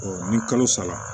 ni kalo sara